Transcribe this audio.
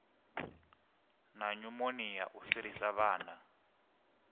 na nyumonia u fhirisa vhana